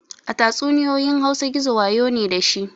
A tatsuniyoyin hausa gizo wayo ne dashi